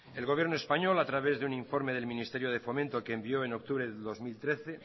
el gobierno español a través de un informe del ministerio de fomento que envió en octubre del dos mil trece